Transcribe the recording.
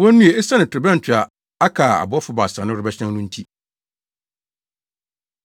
wonnue esiane torobɛnto a aka a abɔfo baasa no rebɛhyɛn no nti.”